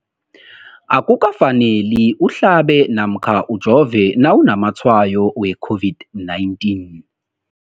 Akuka faneli uhlabe namkha ujove nawu namatshayo we-COVID-19.